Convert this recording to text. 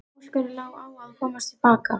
Óskari lá á að komast til baka.